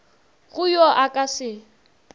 go yo a ka se